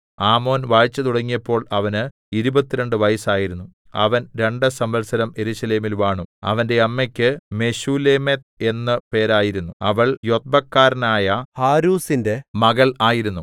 ആമോൻ വാഴ്ച തുടങ്ങിയപ്പോൾ അവന് ഇരുപത്തിരണ്ട് വയസ്സായിരുന്നു അവൻ രണ്ട് സംവത്സരം യെരൂശലേമിൽ വാണു അവന്റെ അമ്മക്ക് മെശൂല്ലേമെത്ത് എന്ന് പേരായിരുന്നു അവൾ യൊത്ബക്കാരനായ ഹാരൂസിന്റെ മകൾ ആയിരുന്നു